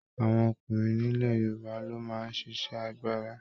Àwọn ọkùnrin nilẹ̀ Yorùbá lo máa n ṣiṣẹ àgbàrá.